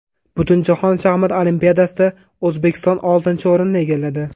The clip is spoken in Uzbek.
Butunjahon shaxmat olimpiadasida O‘zbekiston oltinchi o‘rinni egalladi.